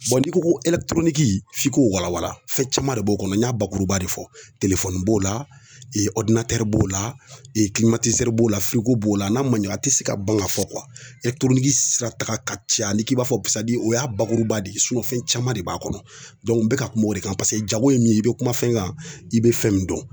n'i ko ko f'i k'o wala wala fɛn caman de b'o kɔnɔ n y'a bakuruba de fɔ b'o la b'o la b'o la b'o la n'a ma ɲɛ a ti se ka ban ka fɔ sirataga ka ca hali k'i b'a fɔ o y'a bakuruba de ye fɛn caman de b'a kɔnɔ n bɛ ka kuma o de kan jago ye min ye i bɛ kuma fɛn kan i bɛ fɛn min dɔn